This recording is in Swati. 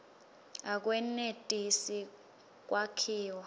akwenetisi kwakhiwa